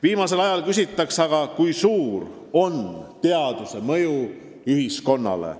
Viimasel ajal küsitakse tihti, kui suur on teaduse mõju ühiskonnale.